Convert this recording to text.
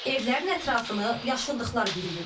Evlərin ətrafını yaşıllıqlar bürüyüb.